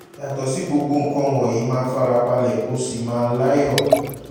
yàtọ̀ sí gbogbo nǹkan wọ̀nyí máa fara balẹ̀ kó o sì máa láyọ̀